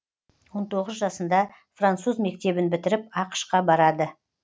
он тоғыз жасында француз мектебін бітіріп ақш қа барады